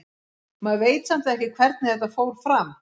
Maður veit samt ekki hvernig þetta fór fram.